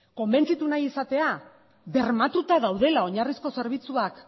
konbentzitu nahi izatea bermatuta daudela oinarrizko zerbitzuak